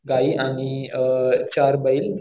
गायी आणि अ चार बैल